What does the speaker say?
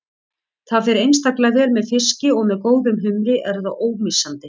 Það fer einstaklega vel með fiski og með góðum humri er það ómissandi.